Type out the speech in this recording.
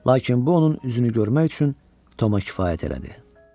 Lakin bu onun üzünü görmək üçün Toma kifayət elədi.